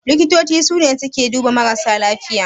Likitoci sune suke duba marasa lafiya.